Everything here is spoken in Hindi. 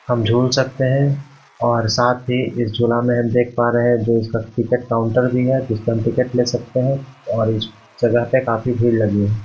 हम झूल सकते हैं और साथ ही इस झुला में हम देख पा रहे हैं जो इसका टिकट काउंटर भी है जिसपे हम टिकट ले सकते हैं और इस जगह पे काफी भीड़ लगी है।